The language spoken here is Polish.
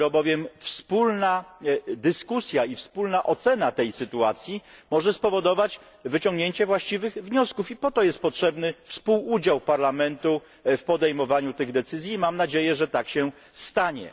Dopiero bowiem wspólna dyskusja i wspólna ocena tej sytuacji może spowodować wyciągnięcie właściwych wniosków po to jest potrzebny współudział Parlamentu w podejmowaniu tych decyzji i mam nadzieję, że tak się stanie.